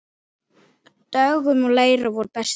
Dögun og Leira voru bestar.